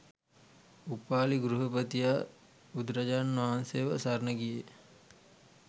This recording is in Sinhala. උපාලි ගෘහපතියා බුදුරජාණන් වහන්සේ ව සරණ ගියේ ය